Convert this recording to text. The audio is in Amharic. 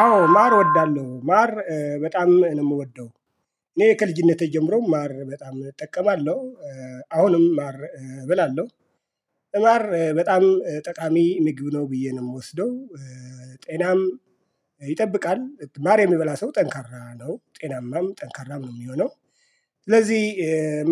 አዎ ማር እወዳለሁ ማር በጣም ነው የምወደው። እኔ ከልጅነቴ ጀምሮ ማር በጣም እጠቀማለሁ። አሁንም ማር እበላለሁ። ማር በጣም ጠቃሚ ምግብ ነው ብዬ ነው የምወስደው። ጤናም ይጠብቃል ማር የሚበላ ሰው ጠንካራ ነው ጤናማም ጠንካራም ነው የሚሆነው። ስለዚህ